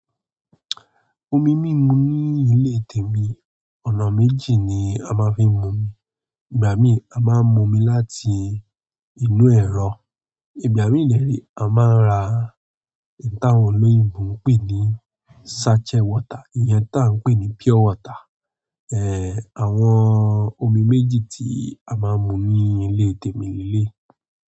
Omi mímu ní ilé tèmi, ọ̀nà méjì ni a máa ń fi mu. Ìgbà míì a máa ń mu omi láti inú ẹ̀rọ, ìgbà míì de re a máa ń ra ìtàn olóyìnbo ń pè ní sachet water, ìyẹn tá ń pè ní pure water. Èh, àwọn omi méjì tí a máa ń mu ní ilé tèmi ní eleyi.